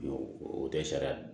O tɛ sariya